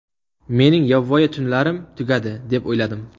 Mening yovvoyi tunlarim tugadi, deb o‘yladim.